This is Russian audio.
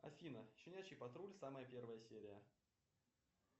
афина щенячий патруль самая первая серия